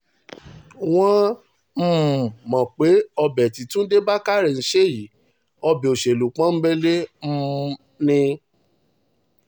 wọ́n um mọ̀ pé ọbẹ̀ tí túnde túnde bákárẹ́ ń ṣe yí ọbẹ̀ òṣèlú pọ́ńńbélé um ni